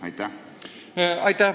Aitäh!